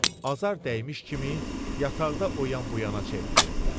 Azar dəymiş kimi yataqda o yan bu yana çevrilirdilər.